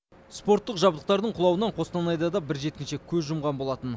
спорттық жабдықтардың құлауынан қостанайда да бір жеткіншек көз жұмған болатын